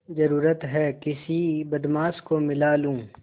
जरुरत हैं किसी बदमाश को मिला लूँ